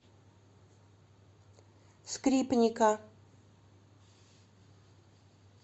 скрипника